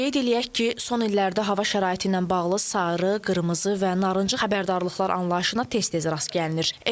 Qeyd eləyək ki, son illərdə hava şəraiti ilə bağlı sarı, qırmızı və narıncı xəbərdarlıqlar anlayışına tez-tez rast gəlinir.